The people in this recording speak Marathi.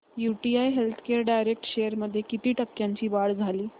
यूटीआय हेल्थकेअर डायरेक्ट शेअर्स मध्ये किती टक्क्यांची वाढ झाली